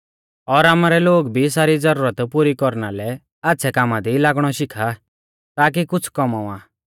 और आमारै लोग भी सारी ज़रूरत पुरी कौरना लै आच़्छ़ै कामा दी लागणौ शिखा ताकी कुछ़ कौमावा